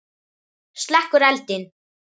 Slekkur eldinn.